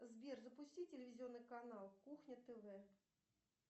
сбер запусти телевизионный канал кухня тв